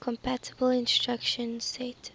compatible instruction set